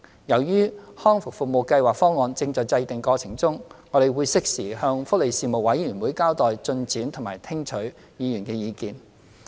由於《香港康復計劃方案》正在制訂過程中，我們會適時向福利事務委員會交代進展及聽取議員的意見。